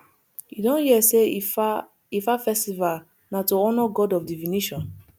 you don hear sey ifa ifa festival na to honour god of divination